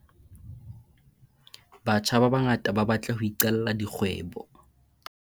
Batjha ba bangata ba batla ho iqalla dikgwebo.